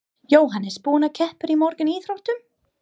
Jóhannes: Búinn að keppa í mörgum íþróttum?